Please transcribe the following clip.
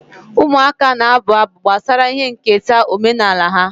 Ụmụaka na-abụ abụ gbasara ihe nketa omenala ha.